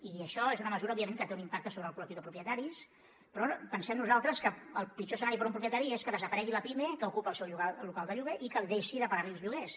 i això és una mesura òbviament que té un impacte sobre el col·lectiu de propietaris però pensem nosaltres que el pitjor escenari per a un propietari és que desaparegui la pime que ocupa el seu local de lloguer i que deixi de pagar li els lloguers